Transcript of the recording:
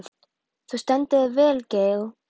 Þú stendur þig vel, Gael!